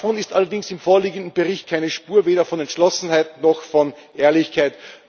Davon ist allerdings im vorliegenden Bericht keine Spur weder von Entschlossenheit noch von Ehrlichkeit.